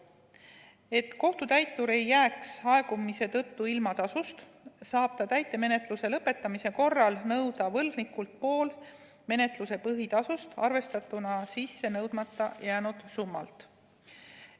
Et kohtutäitur ei jääks täitmise aegumise tõttu tasust ilma, saab ta täitemenetluse lõpetamise korral nõuda võlgnikult pool menetluse põhitasust, arvestatuna sissenõudmata jäänud summalt.